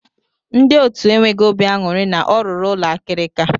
Ndị otu enweghị obi aṅụrị na ọ rụrụ ụlọ akirika.